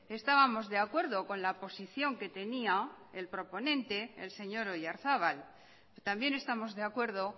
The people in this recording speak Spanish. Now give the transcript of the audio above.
estábamos de acuerdo con la posición que tenía el proponente el señor oyarzabal también estamos de acuerdo